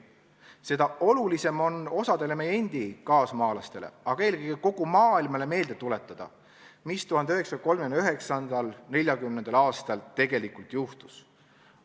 Seda olulisem on osale meie enda kaasmaalastele, aga eelkõige kogu maailmale meelde tuletada, mis 1939.–1940. aastal tegelikult juhtus.